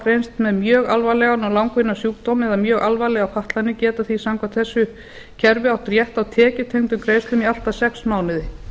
greinst með mjög alvarlegan og langvinnan sjúkdóm eða mjög alvarlegar fatlanir geta því samkvæmt þessu kerfi átt rétt á tekjutengdum greiðslum í allt að sex mánuði